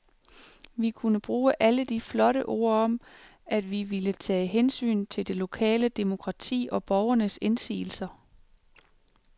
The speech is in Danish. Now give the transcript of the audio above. Vi kunne bruge alle de flotte ord om, at vi ville tage hensyn til det lokale demokrati og borgernes indsigelser.